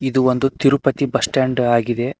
ಇದು ಒಂದು Tirupati bus stand ಆಗಿದೆ.